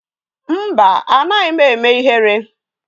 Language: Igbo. Mba, anaghị m eme ihere.